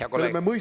Hea kolleeg!